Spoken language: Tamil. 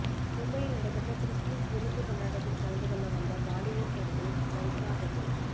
மும்பையில் நடைபெற்ற கிறிஸ்துமஸ் விருந்து கொண்டாட்டத்தில் கலந்து கொள்ள வந்த பாலிவுட் நடிகை கரிஷ்மா கபூர்